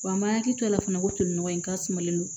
Wa m'a hakili to a la fana ko tolinɔgɔ in ka sumalen don